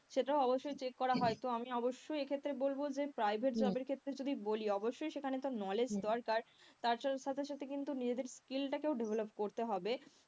সেটা অবশ্যই check করা হয় তো আমি অবশ্যই এক্ষেত্রে বলবো যে private job এর ক্ষেত্রে যদি বলি অবশ্যই সেখানে তো knowledge দরকার তার সাথে সাথে কিন্তু নিজেদের skill টাকেও develop করতে হবে,